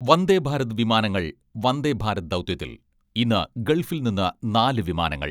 വന്ദേഭാരത് വിമാനങ്ങൾ വന്ദഭാരത് ദൗത്യത്തിൽ ഇന്ന് ഗൾഫിൽ നിന്ന് നാല് വിമാനങ്ങൾ.